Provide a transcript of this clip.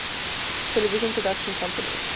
television production company